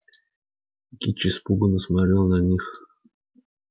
кичи испуганно смотрела на них